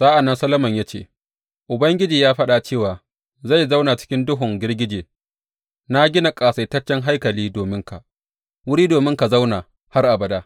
Sa’an nan Solomon ya ce, Ubangiji ya faɗa cewa zai zauna cikin duhun girgije; na gina ƙasaitaccen haikali dominka, wuri domin ka zauna har abada.